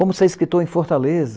Como ser escritor em Fortaleza?